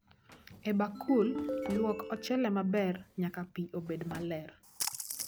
E bakul, luok ochele maber nyaka pii obed maler